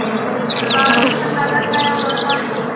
दरबार में सन्नाटा छाया हुआ था